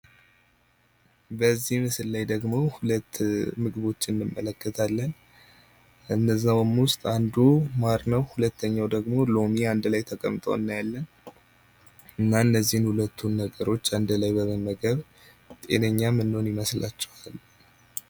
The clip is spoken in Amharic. በዚህ ምስል ላይ ሁለት ምግቦች እንመለከታለን ።ከነዚያዉም ውስጥ አንዱ ማር ነው። ሁለተኛው ደግሞ ሎሚ አንድ ላይ ተቀምጦ እናያለን ።እና እነዚህን ሁለት ነገሮች አንድ ላይ በመመገብ ጤነኛ ምንሆን ይመስላችኋል ?